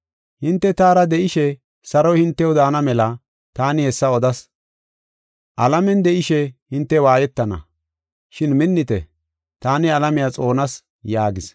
Hinte taara de7ishe saroy hintew daana mela taani hessa odas. Alamen de7ishe hinte waayetana. Shin minnite; taani alamiya xoonas” yaagis.